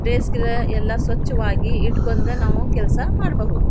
ಬೇಸಿಗೆಲಿ ಎಲ್ಲ ಸ್ವಚ್ಛವಾಗಿ ಇಟ್ಕೊಂಡ್ರೆ ನಾವು ಕೆಲಸ ಮಾಡಬಹುದು.